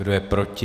Kdo je proti?